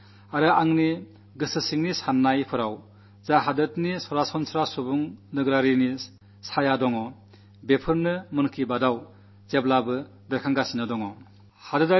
എന്റെ മനസ്സിലും മസ്തിഷ്കത്തിലും സാധാരണക്കാരന്റെ ഏതൊരു രൂപമാണോ തെളിഞ്ഞു നിൽക്കുന്നത് അതാണ് മൻ കീ ബാത്തിൽ എന്നും പ്രകടമായിട്ടുള്ളത്